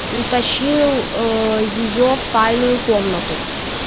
утащил ээ её в тайную комнату